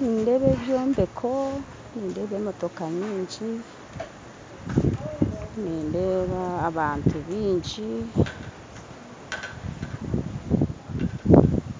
Nindeeba ebyombeko, nindeeba emotooka nyingi, nindeeba abantu baingi,